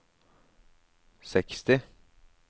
seksti